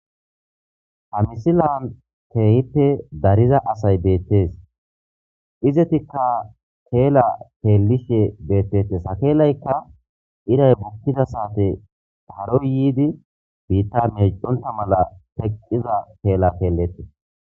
hamisilan teehippe dariza asay beettees izetikka teela teelishe beettete sakeelaykka iray bukkida saate haroy yiidi biitta medonta mala teqqiza teela teelletii